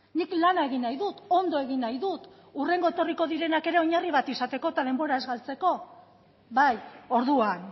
nik lana egin nahi dut ondo egin nahi dut hurrengo etorriko direnak ere oinarri bat izateko eta denbora ez galtzeko bai orduan